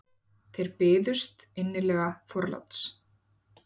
Þeir byðust innilega forláts.